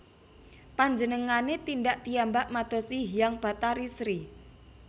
Panjenengane tindak piyambak madosi Hyang Bathari Sri